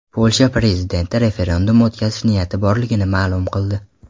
Polsha prezidenti referendum o‘tkazish niyati borligini ma’lum qildi.